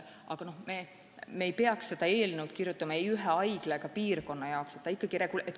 Muidugi me ei peaks eelnõu kirjutama ühe haigla või ühe piirkonna jaoks.